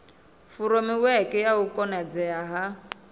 furemiweke ya u konadzea ha